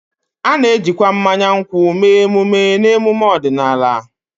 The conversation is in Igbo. A na-ejikwa mmanya nkwụ mee emume na emume ọdịnala